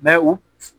Mɛ u